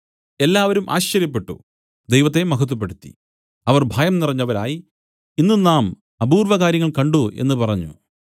എല്ലാവരും ആശ്ചര്യപ്പെട്ടു ദൈവത്തെ മഹത്വപ്പെടുത്തി അവർ ഭയം നിറഞ്ഞവരായി ഇന്ന് നാം അപൂർവകാര്യങ്ങൾ കണ്ട് എന്നു പറഞ്ഞു